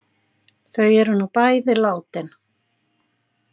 Þau eru nú bæði látin.